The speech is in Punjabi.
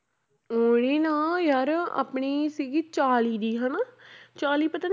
ਉਹਨੇ ਨਾ ਯਾਰ ਆਪਣੀ ਸੀਗੀ ਚਾਲੀ ਦੀ ਹਨਾ ਚਾਲੀ ਪਤਾ